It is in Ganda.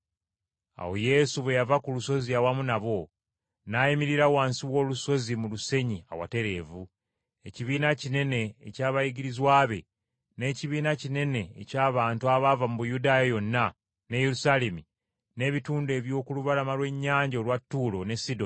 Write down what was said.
Awo Yesu bwe yava ku lusozi awamu nabo, n’ayimirira wansi w’olusozi mu lusenyi awatereevu, ekibiina kinene eky’abayigirizwa be, n’ekibiina kinene eky’abantu abaava mu Buyudaaya yonna ne Yerusaalemi n’ebitundu eby’oku lubalama lw’ennyanja olwa Ttuulo ne Sidoni,